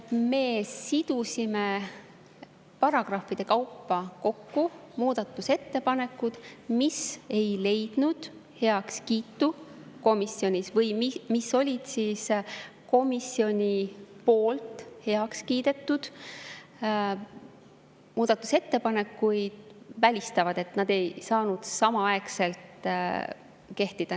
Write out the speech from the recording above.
Me sidusime paragrahvide kaupa kokku muudatusettepanekud, mis ei leidnud komisjonis heakskiitu, mis näiteks välistasid komisjoni poolt heaks kiidetud muudatusettepanekud, nii et need ei saanud samaaegselt kehtida.